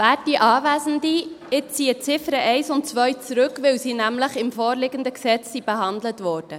Ich ziehe die Ziffern 1 und 2 zurück, weil sie nämlich im vorliegenden Gesetz behandelt wurden.